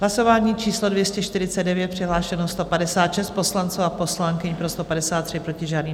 Hlasování číslo 249, přihlášeno 156 poslanců a poslankyň, pro 153, proti žádný.